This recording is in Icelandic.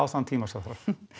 þann tíma sem þarf